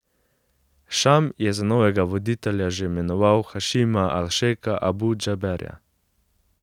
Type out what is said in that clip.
Šam je za novega voditelja že imenoval Hašima al Šejka Abu Džaberja.